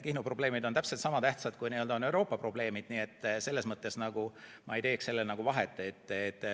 Kihnu probleemid on täpselt sama tähtsad, kui on Euroopa probleemid, nii et selles mõttes ma ei teeks vahet.